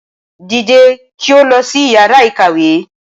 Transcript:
Dìde kí o lọ sí Ìyàrá-ìkàwé!